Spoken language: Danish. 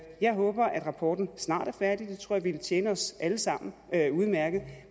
jeg håber rapporten snart er færdig det tror jeg ville tjene os alle sammen udmærket